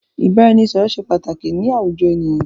Ìbáraẹnisọ̀rọ̀ ṣé pàtàkì ni àwùjọ ènìyàn.